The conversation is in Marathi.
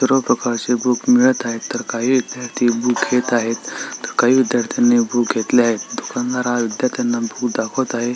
सर्व प्रकारचे बूक मिळत आहेत तर काही विद्यार्थी बूक घेत आहेत तर काही विद्यार्थ्यांनी बूक घेतले आहेत दुकानदार हा विद्यार्थाना बूक दाखवत आहे.